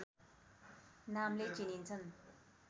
नामले चिनिन्छन्